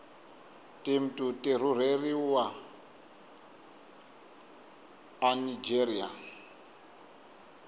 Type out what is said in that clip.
timtu tirureliwa anigeria